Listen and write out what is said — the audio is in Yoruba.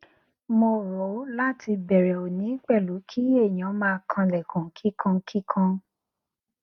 mo o ro lati bẹrẹ oni pẹlu ki eniyan maa kan ilẹkun kikankikan